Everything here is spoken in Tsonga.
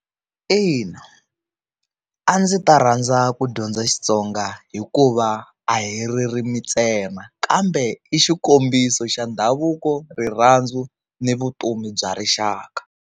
Ina, a ndzi ta rhandza ku dyondza Xitsonga hikuva a hi ririmi ntsena kambe i xikombiso xa ndhavuko rirhandzu ni vutomi bya rixaka.